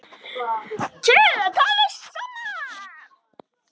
til að tala saman